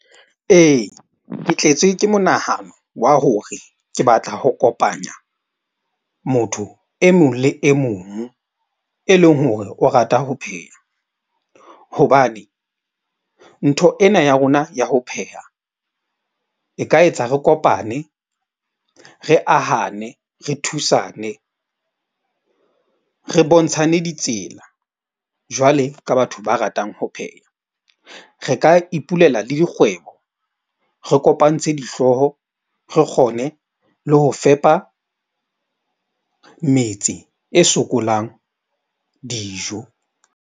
Ee, ke tletswe ke monahano wa hore ke batla ho kopanya motho e mong le e mong e leng hore o rata ho pheha. Hobane ntho ena ya rona ya ho pheha e ka etsa re kopane, re ahane, re thusane, re bontshane ditsela. Jwale ka batho ba ratang ho pheha, re ka ipulela le dikgwebo. Re kopantshe dihlooho, re kgone le ho fepa metse e sokolang dijo.